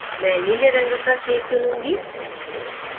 मैं नीले रंग का shade चुनूंगी